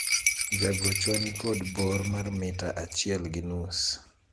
jagochwa nikod bor mar mita achiel gi nus